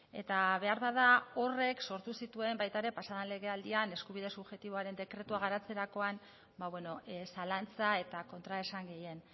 eta beharbada horrek sortu zituen baita ere pasaden legealdian eskubide subjektiboaren dekretua garatzerakoan zalantza eta kontraesan gehien